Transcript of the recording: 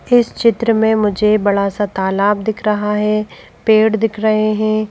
इस चित्र में मुझे बड़ा सा तालाब दिख रहा है पेड़ दिख रहे हैं।